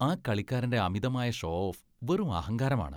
ആ കളിക്കാരന്റെ അമിതമായ ഷോ ഓഫ് വെറും അഹങ്കാരമാണ്.